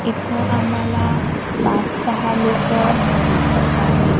इथं आम्हाला पाच सहा लोकं दिसतं आहेत.